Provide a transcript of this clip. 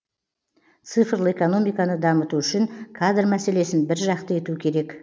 цифрлы экономиканы дамыту үшін кадр мәселесін бір жақты ету керек